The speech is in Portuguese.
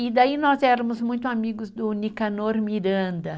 E daí nós éramos muito amigos do Nicanor Miranda.